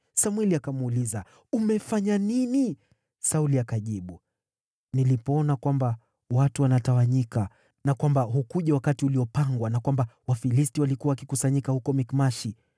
Samweli akamuuliza, “Umefanya nini?” Sauli akajibu, “Nilipoona kwamba watu wanatawanyika, na kwamba hukuja wakati uliopangwa na kwamba Wafilisti walikuwa wakikusanyika huko Mikmashi,